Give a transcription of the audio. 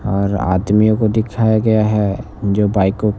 और आदमियों को दिखाया गया है जो बाइक को--